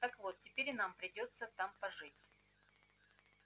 так вот теперь и нам придётся там пожить